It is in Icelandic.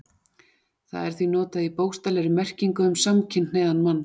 Það er því notað í bókstaflegri merkingu um samkynhneigðan mann.